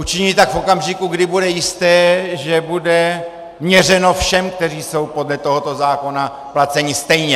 Učiní tak v okamžiku, kdy bude jisté, že bude měřeno všem, kteří jsou podle tohoto zákona placeni, stejně.